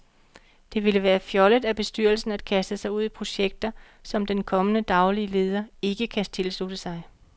Det ville være fjollet af bestyrelsen at kaste sig ud i projekter, som den kommende daglige leder ikke kan tilslutte sig.